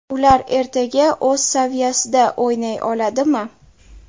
Ular ertaga o‘z saviyasida o‘ynay oladimi?